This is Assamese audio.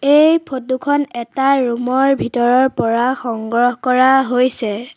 এই ফটো খন এটা ৰুম ৰ ভিতৰৰ পৰা সংগ্ৰহ কৰা হৈছে।